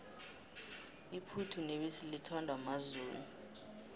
iphuthu nebisi lithandwa mazulu